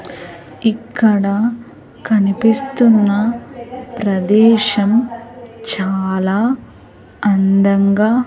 ఇక్కడ కనిపిస్తున్న ప్రదేశం చాలా అందంగా--